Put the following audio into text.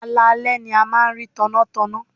Alaalẹ́ ni a máa ń rí tannátanná.